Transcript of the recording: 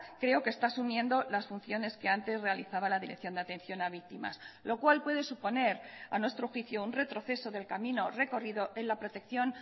creo que está asumiendo las funciones que antes realizaba la dirección de atención a víctimas lo cual puede suponer a nuestro juicio un retroceso del camino recorrido en la protección